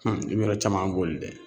i bi yɔrɔ caman boli dɛ.